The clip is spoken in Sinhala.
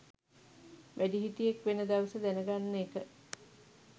වැඩිහිටියෙක් වෙන දවස දැන ගන්න එක